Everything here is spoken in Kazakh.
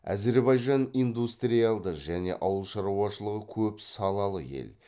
әзірбайжан индустриалды және ауыл шаруашылығы көп салалы ел